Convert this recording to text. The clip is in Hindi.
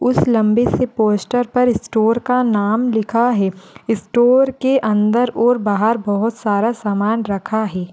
उस लंबी सी पोस्टर पर स्टोर का नाम लिखा है स्टोर के अंदर और बाहर बहुत सारा सामान रखा है।